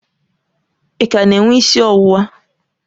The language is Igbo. Ị ka na-enwe isi ọwụwa?